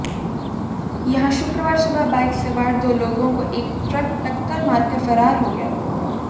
यहां शुक्रवार सुबह बाइक सवार दो लोगों को एक ट्रक टक्कर मारकर फरार हो गया